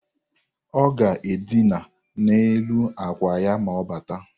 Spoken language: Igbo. Ọ ga-edịna n'elu akwa ya ma ọ bata